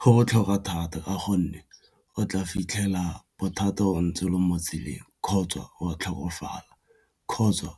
Go botlhokwa thata ka gonne o tla fitlhela bothata o ntse o le mo tseleng kgotsa wa tlhokofala kgotsa